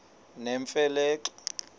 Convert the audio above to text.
nemfe le xa